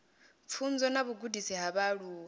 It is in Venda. pfunzo na vhugudisi ha vhaaluwa